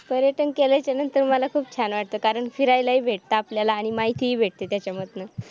पर्यटन केल्याच्या नंतर मला खूप छान वाटतं कारण फिरायला ही भेट आपल्याला आणि माहिती भेटते त्याच्यामध्ये